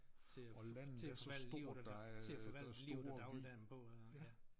Til at til at forvalte livet og til at forvalte livet og dagligdagen på øh ja